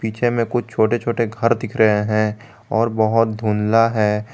पीछे में कुछ छोटे छोटे घर दिख रहे हैं और बहुत धुंधला है।